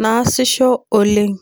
nasisho oleng.